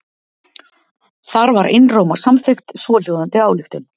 Þar var einróma samþykkt svohljóðandi ályktun